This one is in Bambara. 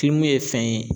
ye fɛn ye